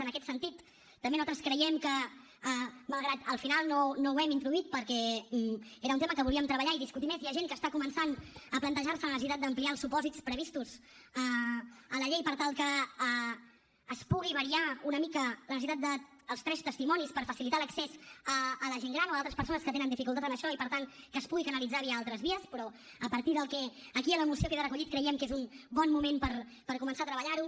en aquest sentit també nosaltres creiem que malgrat que al final no ho hem introduït perquè era un tema que volíem treballar i discutir més hi ha gent que està començant a plantejar se la necessitat d’ampliar els supòsits previstos a la llei per tal que es pugui variar una mica la necessitat dels tres testimonis per facilitar l’accés a la gent gran o a altres persones que tenen dificultats en això i per tant que es pugui canalitzar via altres vies però a partir del que aquí a la moció queda recollit creiem que és un bon moment per començar a treballar ho